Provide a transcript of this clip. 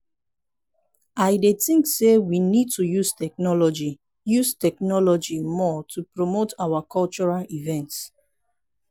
i dey think say we need to use technology use technology more to promote our cultural events.